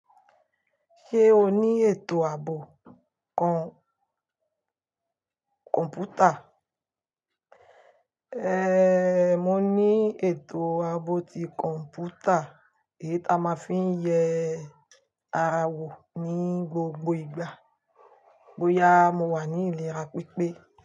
Ṣé o ní ètò ààbò kọ̀m̀pútà? Ehn, mo ní ètò ààbò ti kọ̀m̀pútà èyí ta máa ń fi ń yẹ ara wò ní gbogbo ìgbà bóyá mo wà ní ilé ra pípé.